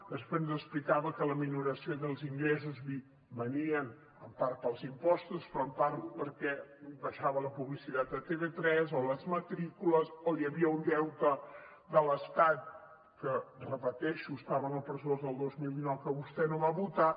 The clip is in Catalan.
després ens explicava que la minoració dels ingressos venia en part pels impostos però en part perquè baixava la publicitat de tv3 o les matrícules o hi havia un deute de l’estat que ho repeteixo estava en el pressupost del dos mil dinou que vostè no va votar